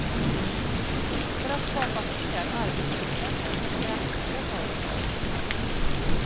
För att skapa fler arbetstillfällen krävs nya företag.